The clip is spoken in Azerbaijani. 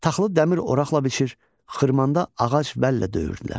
Taxılı dəmir oraqla biçir, xırmanda ağac vəllə döyürdülər.